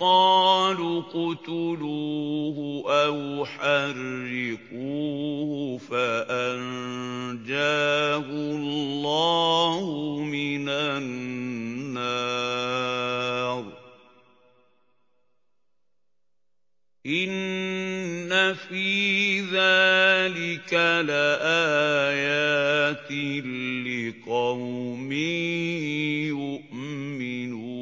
قَالُوا اقْتُلُوهُ أَوْ حَرِّقُوهُ فَأَنجَاهُ اللَّهُ مِنَ النَّارِ ۚ إِنَّ فِي ذَٰلِكَ لَآيَاتٍ لِّقَوْمٍ يُؤْمِنُونَ